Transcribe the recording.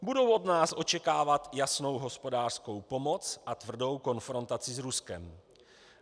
Budou od nás očekávat jasnou hospodářskou pomoc a tvrdou konfrontaci s Ruskem.